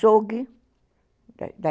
açougue